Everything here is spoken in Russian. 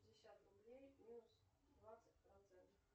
пятьдесят рублей минус двадцать процентов